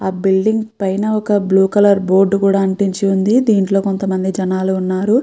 ఆ బిల్డింగ్ పైన ఒక బ్లూ కలర్ బోర్డు కూడా అంటించి ఉంది దీంట్లో కొంత మంది జనాలు వున్నారు.